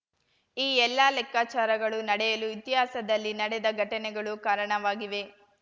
ಈ ಎಲ್ಲಾ ಲೆಕ್ಕಾಚಾರಗಳು ನಡೆಯಲು ಇತಿಹಾಸದಲ್ಲಿ ನಡೆದ ಘಟನೆಗಳು ಕಾರಣವಾಗಿವೆ